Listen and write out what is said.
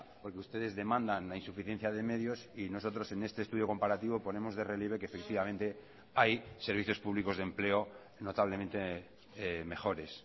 porque ustedes demandan la insuficiencia de medios y nosotros en este estudio comparativo ponemos de relieve que efectivamente hay servicios públicos de empleo notablemente mejores